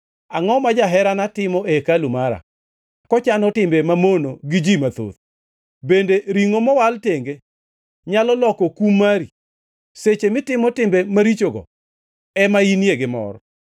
“Angʼo ma jaherana timo e hekalu mara kochano timbe mamono gi ji mathoth? Bende ringʼo mowal tenge nyalo loko kum mari? Seche mitimo timbe marichogo, ema inie gi mor.”